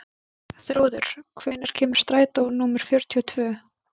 Þrúður, hvenær kemur strætó númer fjörutíu og tvö?